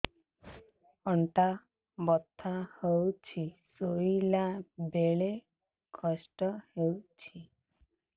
ଅଣ୍ଟା ବଥା ହଉଛି ଶୋଇଲା ବେଳେ କଷ୍ଟ ହଉଛି